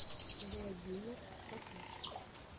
владимир строкач